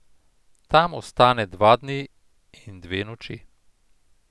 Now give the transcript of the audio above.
Tam ostane dva dni in dve noči.